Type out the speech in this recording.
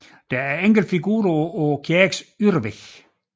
Der er enkelte figurer på kirkens ydervæg